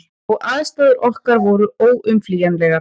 Og aðstæður okkar voru óumflýjanlegar.